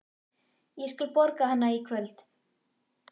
Ég skal borga hana í kvöld.